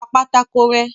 Pa pátákó rẹ́.